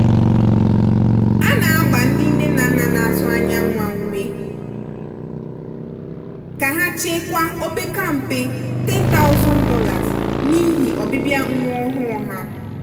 a na-agba ndị nne na nna na-atụ anya nwa ume ka ha chekwaa o opeka mpe $10000 n'ihi ọbịbịa nwa ọhụụ ha.